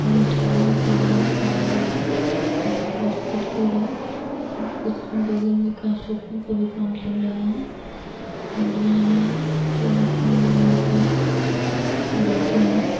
मिठाइयों के हैं और फ़ास्ट फ़ूड की है और कुछ बगल में कंस्ट्रक्शन का भी काम चल रहा है और यहाँ पे लोग हमेशा रहते हैं।